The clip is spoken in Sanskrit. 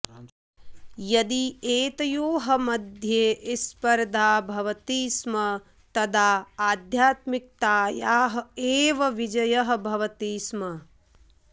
यदि एतयोः मध्ये स्पर्धा भवति स्म तदा आध्यात्मिकतायाः एव विजयः भवति स्म